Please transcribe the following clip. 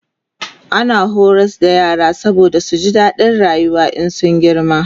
ana horar da yara saboda su ji dadin rayuwa in sun girma